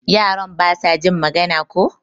Yaran basa jin magana ko?